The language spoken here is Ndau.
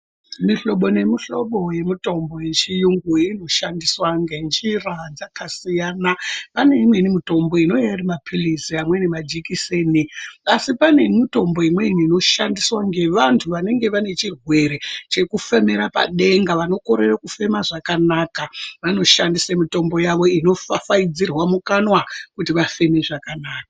Mihlobo nemihlobo yemitombo yechiyungu inoshandiswa ngenjira dzakasiyana paneimweni mitombo inouya ari maphirizi pamweni majekiseni. Asi pane mitombo imweni inoshandiswa ngevantu vanenge vane chirwere chekufemera padenga vanokorere kufema zvakanaka vanoshandisa mitombo yavo ino fafaidzirwa mukanwa kuti vafeme zvakanaka.